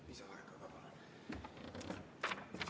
Palun lisaaega!